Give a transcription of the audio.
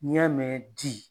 N'i y'a mɛn di